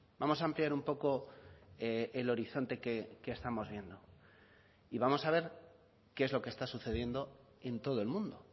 vamos a ampliar un poco el horizonte que estamos viendo y vamos a ver qué es lo que está sucediendo en todo el mundo